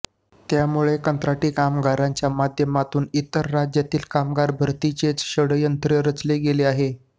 त्यामुळे कंत्राटी कामगारांच्या माध्यमातून इतर राज्यातील कामगार भरतीचेच षड्यंत्र रचले गेले आहे